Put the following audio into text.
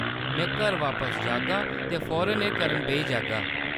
में घर बापस जाह्‌गा ते फौरन एह् करन बेही जाह्‌गा।